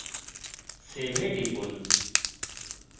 save এ টিপুন